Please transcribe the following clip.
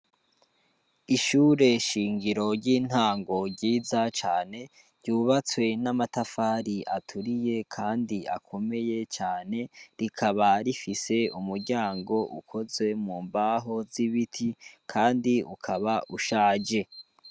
Ishure shingiro ry'intango ryiza cane, ryubatswe n'amatafari aturiye kandi akomeye cane, rikaba rifise umuryango ukozwe mu mbaho z'ibiti, kandi ukaba ushaje.